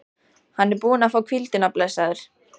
Hann er búinn að fá hvíldina, blessaður.